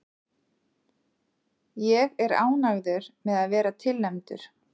Ég er ánægður með að vera tilnefndur.